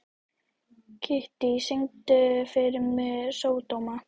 Kittý, syngdu fyrir mig „Sódóma“.